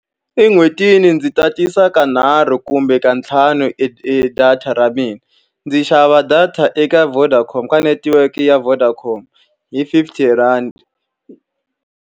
En'hwetini ndzi tatisa ka nharhu kumbe ka ntlhanu e e data ra mina. Ndzi xava data eka Vodacom ka netiweke ya Vodacom hi fifty rhandi.